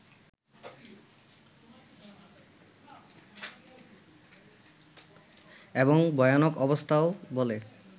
এবং ভয়ানক অবস্থা বলে